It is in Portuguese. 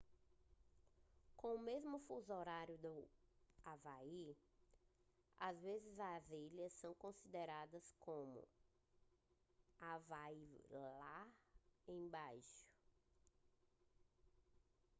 com o mesmo fuso horário do havaí às vezes as ilhas são consideradas como havaí lá embaixo